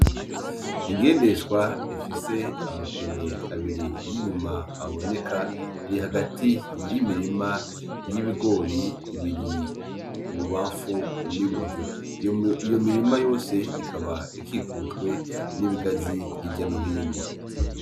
Ingedeshwa ifise amapine abiri y'inyuma aboneka, iri hagati y'imirima y'ibigori ibiri, umwe i bubamfu uwundi i buryo; iyo mirima yose ikaba ikikujwe n'ibigazi hirya no hino.